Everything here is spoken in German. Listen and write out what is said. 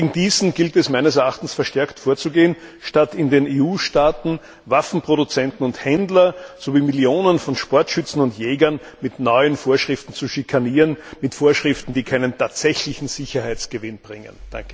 Und gegen diesen gilt es meines Erachtens verstärkt vorzugehen, statt in den EU Staaten Waffenproduzenten und Händler sowie Millionen von Sportschützen und Jägern mit neuen Vorschriften zu schikanieren, mit Vorschriften, die keinen tatsächlichen Sicherheitsgewinn bringen.